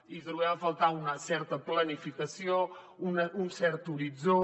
hi trobem a faltar una certa planificació un cert horitzó